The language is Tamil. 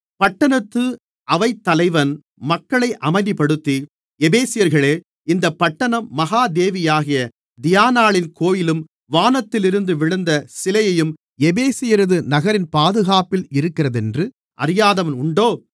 பட்டணத்து அவைத்தலைவன் மக்களை அமைதிப்படுத்தி எபேசியர்களே இந்த பட்டணம் மகா தேவியாகிய தியானாளின் கோவிலும் வானத்திலிருந்து விழுந்த சிலையையும் எபேசியரது நகரின் பாதுகாப்பில் இருக்கிறதென்று அறியாதவன் உண்டோ